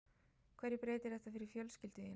Hverju breytir þetta fyrir fjölskyldu þína?